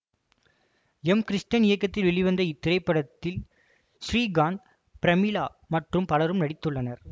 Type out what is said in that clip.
M Krishnan இயக்கத்தில் வெளிவந்த இத்திரைப்படத்தில் ஸ்ரீகாந்த் பிரமிளா மற்றும் பலரும் நடித்துள்ளனர்